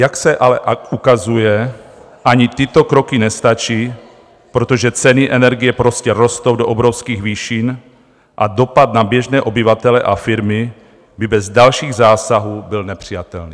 Jak se ale ukazuje, ani tyto kroky nestačí, protože ceny energie prostě rostou do obrovských výšin a dopad na běžné obyvatele a firmy by bez dalších zásahů byl nepřijatelný.